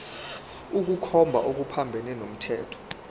ukukhomba okuphambene nomthetho